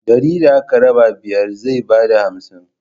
Dari da aka raba biyar zai ba da hamsin.